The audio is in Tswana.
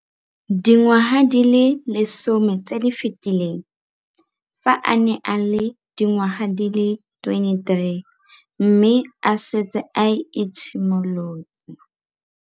Dingwaga di le 10 tse di fetileng, fa a ne a le dingwaga di le 23 mme a setse a itshimoletse